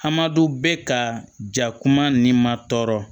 Hamadu bɛ ka ja kuma ni ma tɔɔrɔ